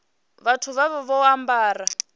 vhathu vha vha vho ambara